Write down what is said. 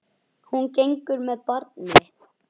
Hún gengur með barn mitt.